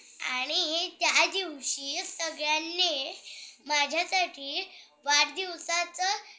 आणि त्यादिवशी सगळ्यांनी माझ्यासाठी वाढदिवसाचं